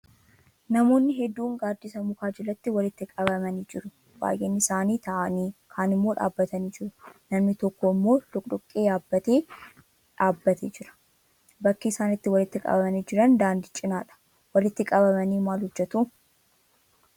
Namoonni hedduun gaaddisa mukaa jalatti walitti qabamanii jiru. Baay'een isaanii taa'anii, kaan immoo dhaabbatanii jiru. Namni tokko immoo doqdoqqee yaabbatee dhaabbatee jira. Bakki isaan itti walitti qabamanii jiran daandii cinadha. Walitti qabamanii maal hojjetu?